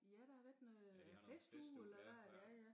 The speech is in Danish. Ja der har været noget festuge eller været ja ja